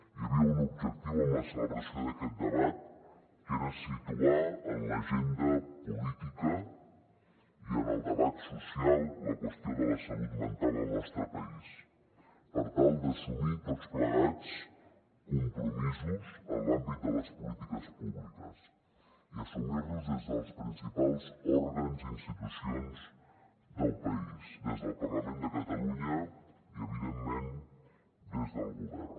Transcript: hi havia un objectiu en la celebració d’aquest debat que era situar en l’agenda política i en el debat social la qüestió de la salut mental al nostre país per tal d’assumir tots plegats compromisos en l’àmbit de les polítiques públiques i assumir los des dels principals òrgans i institucions del país des del parlament de catalunya i evidentment des del govern